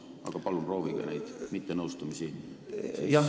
Aga palun proovige neid mittenõustumisi siis ...